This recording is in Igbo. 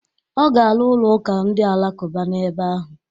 Ọ ga-arụ ụlọ ụka ndị Alakụba n'ebe ahụ.